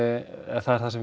eða það er það sem